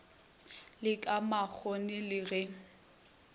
le ka makgoni le ge